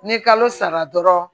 Ni kalo sara dɔrɔn